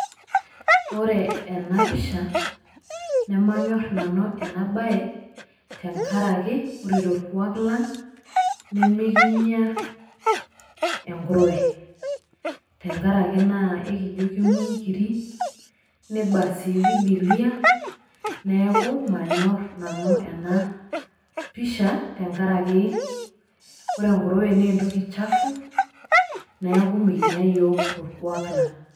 Ore ena pisha namanyor nanu ena bae tenkaraki ore torkuak lang' nimikinya enkuruwe tenkaraki naa ekijo kengu inkirri niba sii bibilia, neeku manyorr nanu ena pisha tenkaraki ore enkuruwe naa entoki chafu neeku mikinya yiok torkuak lang'.